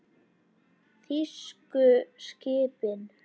Þýsku skipin.